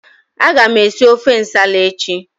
Agam esi ofe nsala echi.